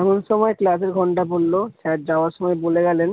এমন সময় class এ ঘন্টা পড়লো sir যাওয়ার সময় বলে গেলেন।